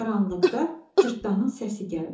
Qaranlıqda Cırtdanın səsi gəldi.